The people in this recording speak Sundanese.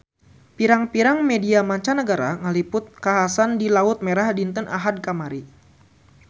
Pirang-pirang media mancanagara ngaliput kakhasan di Laut Merah dinten Ahad kamari